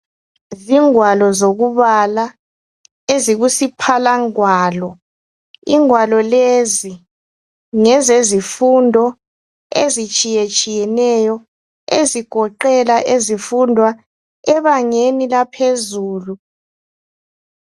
Zingwalo zokubala ezikusiphalangwalo, ingwalo lezi ngesezifundo ezitshiyetshiyeneyo, ezigoqela ezifundwa ebangeni laphezulu.